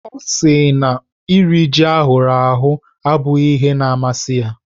Ọ sị na iri ji ahụrụ ahụ abụghị ihe na-amasị ya.